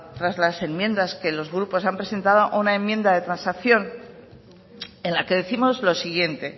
tras la enmiendas que los grupos han presentado a una enmienda de transacción en la que décimos lo siguiente